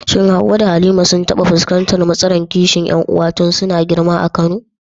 Shin Hawwa da Halima sun taɓa fuskantar matsalar kishin ƴan uwa tun suna girma a Kano?